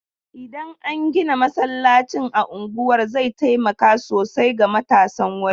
Idan an gina masallacin a unguwar zai taimaka sosai ga matasan wurin.